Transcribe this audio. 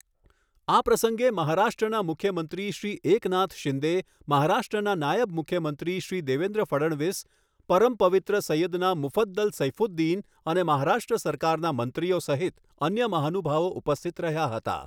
આ પ્રસંગે મહારાષ્ટ્રના મુખ્યમંત્રી શ્રી એકનાથ શિંદે, મહારાષ્ટ્રના નાયબ મુખ્યમંત્રી શ્રી દેવેન્દ્ર ફડણવીસ, પરમ પવિત્ર સૈયદના મુફદ્દલ સૈફુદ્દીન અને મહારાષ્ટ્ર સરકારના મંત્રીઓ સહિત અન્ય મહાનુભાવો ઉપસ્થિત રહ્યા હતા.